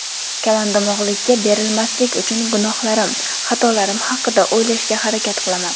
Kalondimog‘likka berilmaslik uchun gunohlarim, xatolarim haqida o‘ylashga harakat qilaman.